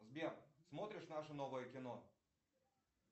сбер смотришь наше новое кино